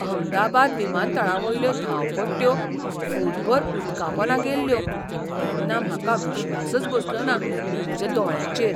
अहमदाबाद विमानतळावयल्यो धांवपट्ट्यो फूटभर उदकापोंदा गेल्ल्यो तेन्ना म्हाका विश्वासच बसलोना म्हज्या दोळ्यांचेर.